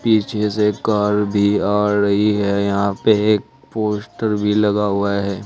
पीछे जैसे एक कार भी आ रही है यहां पे एक पोस्टर भी लगा हुआ है।